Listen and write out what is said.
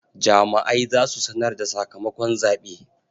Jama'ai za su sanar da sakamakon zaɓe.